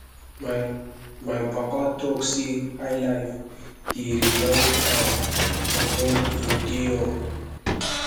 my my papa talk sey highlife dey remind am of wen im dey young